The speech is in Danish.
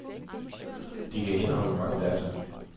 De kan indeholde mange data.